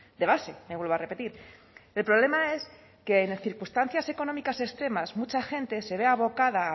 de base le vuelvo a repetir el problema es que en circunstancias económicas extremas mucha gente se ve abocada a